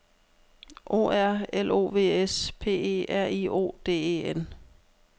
O R L O V S P E R I O D E N